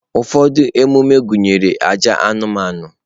Ụfọdụ ememe gụnyere àjà anụmanụ.